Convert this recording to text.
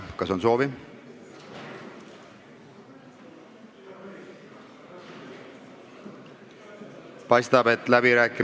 Kas on soovi?